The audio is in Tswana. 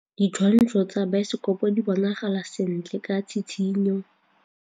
Ditshwantshô tsa biosekopo di bonagala sentle ka tshitshinyô.